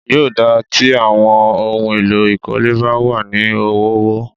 Yóò dáa tí àwọn ohun èlò ìkólé bá wà ní ọ̀wọ̀ọ̀wọ́.